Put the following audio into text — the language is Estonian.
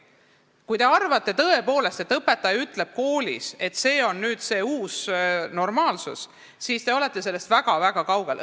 Kui te tõepoolest arvate, et õpetaja ütleb koolis, et see on nüüd uus normaalsus, siis te olete tegelikkusest väga-väga kaugel.